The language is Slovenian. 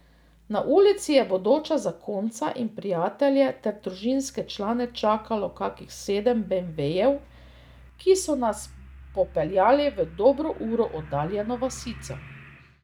Na ulici je bodoča zakonca in prijatelje ter družinske člane čakalo kakih sedem beemvejev, ki so nas popeljali v dobro uro oddaljeno vasico.